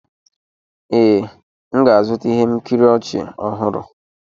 Ee, m ga-azụta ihe nkiri ọchị ọhụrụ.